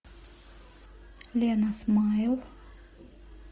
лена смайл